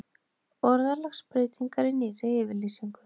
Orðalagsbreytingar í nýrri yfirlýsingu